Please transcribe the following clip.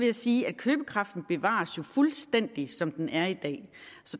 jo sige at købekraften bevares fuldstændig som den er i dag